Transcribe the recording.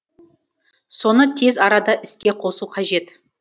соны тез арада іске қосу қажет